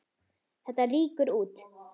Þetta rýkur út.